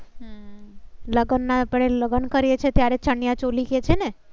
લગન ના આપણે લગન કરીએ છીએ ત્યારે ચણીયા ચોલી કે છે ને?